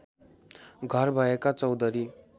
घर भएका चौधरी